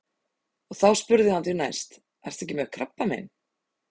Og þá spurði hann því næst: Ertu ekki með krabbamein?